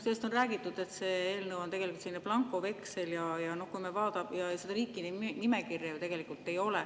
Sellest on räägitud, et see eelnõu on tegelikult blankoveksel, seda riikide nimekirja ju ei ole.